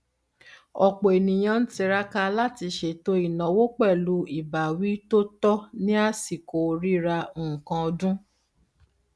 ọpọ ènìyàn ń tiraka láti ṣètò ináwó pẹlú ìbáwí tó tọ ní àsìkò rírà nkan ọdún